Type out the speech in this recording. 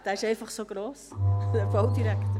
Er ist einfach so gross, der Baudirektor.